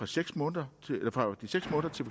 seks måneder